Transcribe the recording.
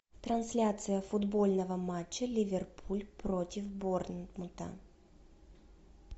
трансляция футбольного матча ливерпуль против борнмута